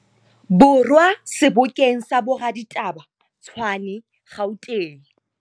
Borwa sebokeng sa boraditaba, Tshwane, Gauteng.